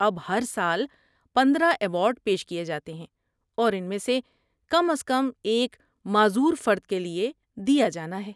اب، ہر سال پندرہ ایوارڈ پیش کیے جاتے ہیں اور ان میں سے کم از کم ایک معذور فرد کے لیے دیا جانا ہے